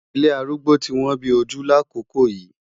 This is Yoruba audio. Ilé arúgbó ti wọ́n bí ojú lákòókò yìí.